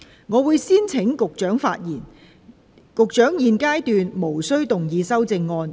我會先請局長發言，局長在現階段無須動議修正案。